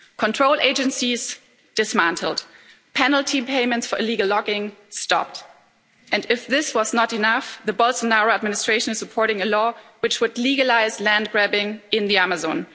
Control agencies dismantled, penalty payments for illegal logging stopped and, if this were not enough, the Bolsonaro administration is supporting a law which would legalise land grabbing in the Amazon.